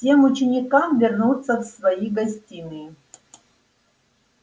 всем ученикам вернуться в свои гостиные